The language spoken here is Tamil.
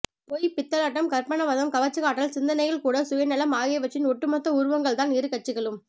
பொய் பித்தலாட்டம் கற்பனாவாதம் கவர்ச்சிக்காட்டல் சிந்தனையில் கூட சுயநலம் ஆகியவற்றின் ஓட்டுமொத்த உருவங்கள்தான் இரு கட்சிகளும்